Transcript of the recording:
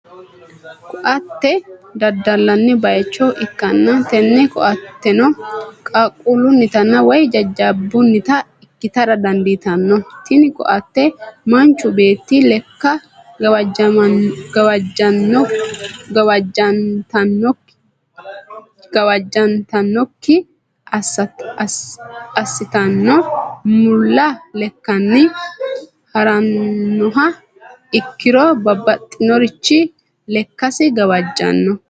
Ko'atte dadalanni bayicho ikanna tinni koattenno qaquulunita woyi jajabunita ikitara dandiitanno tinni koatte manichu beetti lekka gawajantannoki asitanno mulla lekkani haranoha ikiro babaxinorich lekkasi gawajanno.